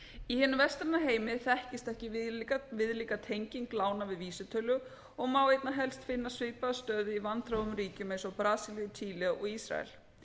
í hinum vestræna heimi þekkist ekki viðlíka tenging lána við vísitölu og má einna helst finna svipaða stöðu í vanþróuðum ríkjum eins og brasilíu chile og ísrael